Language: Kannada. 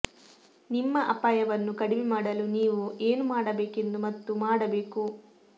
ನಿಮ್ಮ ಅಪಾಯವನ್ನು ಕಡಿಮೆ ಮಾಡಲು ನೀವು ಏನು ಮಾಡಬೇಕೆಂದು ಮತ್ತು ಮಾಡಬೇಕು